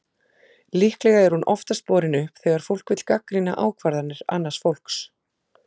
Líklega er hún oftast borin upp þegar fólk vill gagnrýna ákvarðanir annars fólks.